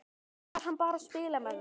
Eða var hann bara að spila með mig?